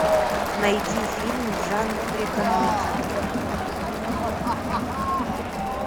найди фильм в жанре комедия